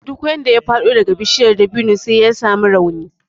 Duk wanda ya faɗo daga bishiya dabino sai ya samu rauni